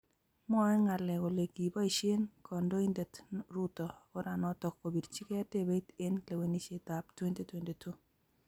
Mwoe ngalek kole kiboishee Kandoindet Ruto oranoto kopirchikei debeit eng lewenishet ab 2022